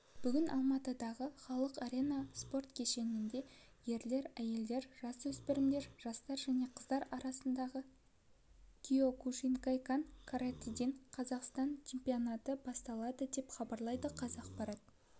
бүгін алматыдағы халық арена спорт кешенінде ерлер әйелдер жасөспірімдер жастар және қыздар арасындағы киокушинкай-кан каратэден қазақстан чемпионаты басталды деп хабарлайды қазақпарат